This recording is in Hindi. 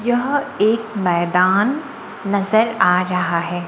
यह एक मैदान नजर आ रहा है।